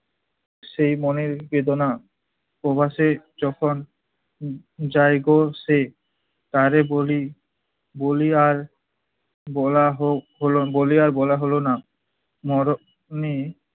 সেই মনের বেদনা প্রবাসে যখন উম যাইগো সে টরে বলি বলি আর বলা হোক হলো বলি আর বলা হলো না। মরণে